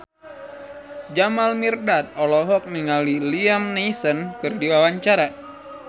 Jamal Mirdad olohok ningali Liam Neeson keur diwawancara